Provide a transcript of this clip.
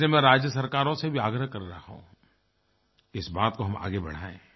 और इसे मैं राज्य सरकारों से भी आग्रह कर रहा हूँ कि इस बात को हम आगे बढाएं